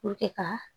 ka